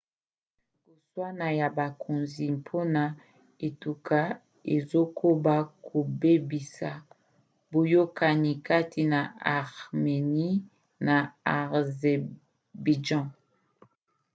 koswana ya bakonzi mpona etuka ezokoba kobebisa boyokani kati na arménie na azerbaïdjan